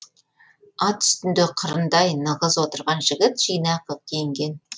ат үстінде қырындай нығыз отырған жігіт жинақы киінген